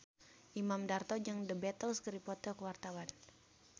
Imam Darto jeung The Beatles keur dipoto ku wartawan